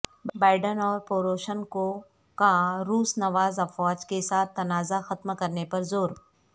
Biden اور Poroshenko کا روس نواز افواج کے ساتھ تنازع ختم کرنے پر زور